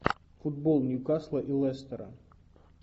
футбол ньюкасла и лестера